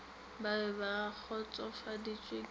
ba be ba kgotsofaditšwe ke